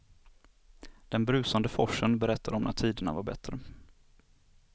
Den brusande forsen berättar om när tiderna var bättre.